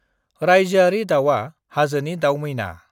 रायजोआरि दाउआ हाजोनि दाउमैना।